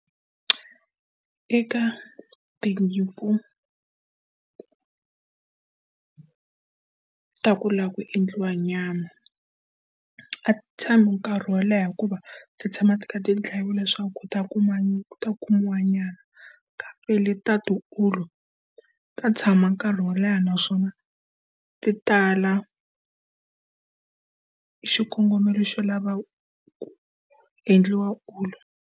Eka tinyimpfu ta ku lava ku endliwa nyama, a ti tshami nkarhi wo leha hikuva ti tshama ti karhi ti dlayiwa leswaku ku ta kuma ku ta kumiwa nyama. Kambe leti ta ti wulu, ta tshama nkarhi wo leha naswona ti tala hi xikongomelo xo lava ku endliwa wulu